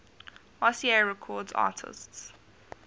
rca records artists